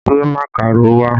Gbé màkàró wá!